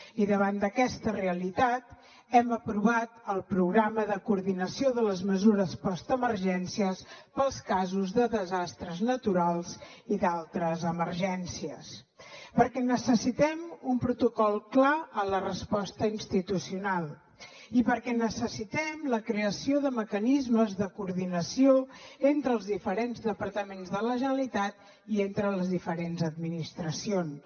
i davant d’aquesta realitat hem aprovat el programa de coordinació de les mesures postemergències pels casos de desastres naturals i d’altres emergències perquè necessitem un protocol clar en la resposta institucional i perquè necessitem la creació de mecanismes de coordinació entre els diferents departaments de la generalitat i entre les diferents administracions